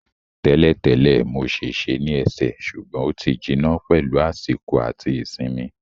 Tẹ́lẹ̀ tẹ́lẹ̀, mo ṣèṣe ní ẹsẹ̀ ṣùgbọ́n ó ti jiná pẹ̀lú àsìkò àti ìsinmi